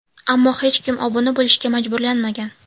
Ammo hech kim obuna bo‘lishga majburlanmagan.